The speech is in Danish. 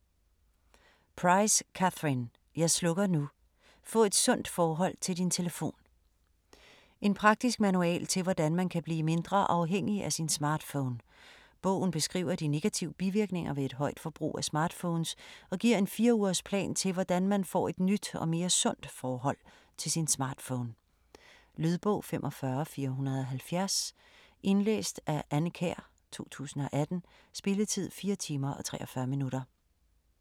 Price, Catherine: Jeg slukker nu!: få et sundt forhold til din telefon En praktisk manual til hvordan man kan blive mindre afhængig af sin smartphone. Bogen beskriver de negative bivirkninger ved et højt forbrug af smartphones, og giver en fire-ugers plan til hvordan man får et nyt og mere sundt forhold til sin smartphone. Lydbog 45470 Indlæst af Anne Kjær, 2018. Spilletid: 4 timer, 43 minutter.